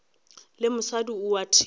le mosadi o a thewa